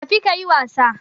Tafi kayi wasa